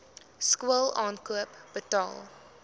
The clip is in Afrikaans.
skool aankoop betaal